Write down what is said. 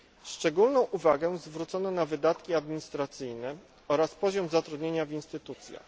Szczególną uwagę zwrócono na wydatki administracyjne oraz poziom zatrudnienia w instytucjach.